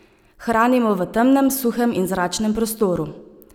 Hranimo v temnem, suhem in zračnem prostoru.